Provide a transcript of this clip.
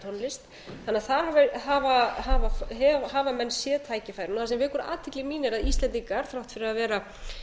útflutningi á norrænni tónlist þannig að þar hafa menn séð tækifærin það sem vekur athygli mína er að íslendingar þrátt fyrir að vera